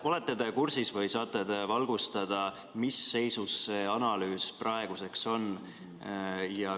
Olete te kursis või saate te valgustada, mis seisus see analüüs praeguseks on?